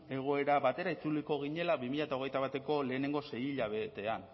egoera batera itzuliko ginela bi mila hogeita bateko lehenengo sei hilabetean